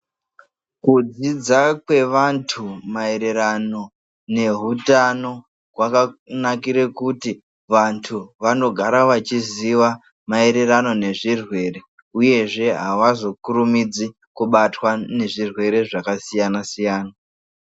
Kudzidza kwevantu maererano neutano kwakanakire kuti vantu vanogara vachiziva maererano nezvirwere uyezve havazokurumidzi kubatwa nezvirwere zvakasiyana siyana.